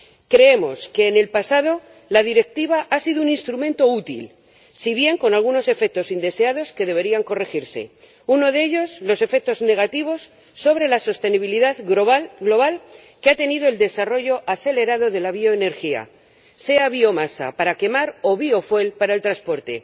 Creemos que en el pasado la Directiva ha sido un instrumento útil, si bien con algunos efectos indeseados que deberían corregirse. Uno de ellos los efectos negativos sobre la sostenibilidad global que ha tenido el desarrollo acelerado de la bioenergía, sea biomasa para quemar o biocombustible para el transporte.